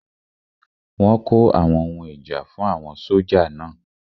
Wọ́n kó àwọn ohun ìjà fún àwọn sójà náà